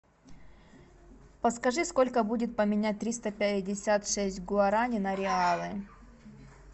подскажи сколько будет поменять триста пятьдесят шесть гуарани на реалы